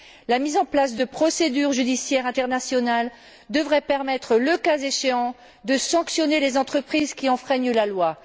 La mise en place de procédures judiciaires internationales devrait permettre, le cas échéant, de sanctionner les entreprises qui enfreignent la loi.